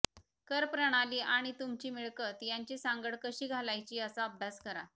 करप्रणाली आणि तुमची मिळकत यांची सांगड कशी घालायची याचा अभ्यास करा